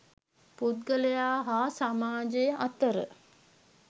පුද්ගලයා හා සමාජය අතර